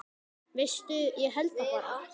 Veistu, ég held það bara.